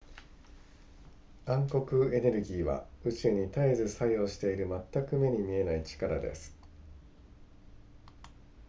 暗黒エネルギーは宇宙に絶えず作用している全く目に見えない力です